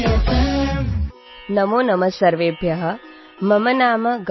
R J Ganga